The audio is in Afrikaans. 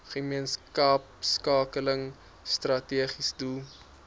gemeenskapskakeling strategiese doel